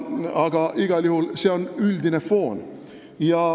Aga igal juhul on see üldine foon.